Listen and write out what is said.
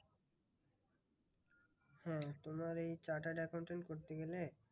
হ্যাঁ তোমার এই chartered accountant করতে গেলে,